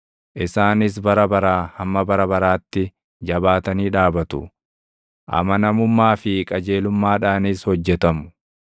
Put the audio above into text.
Isaanis bara baraa hamma bara baraatti jabaatanii dhaabatu; amanamummaa fi qajeelummaadhaanis hojjetamu.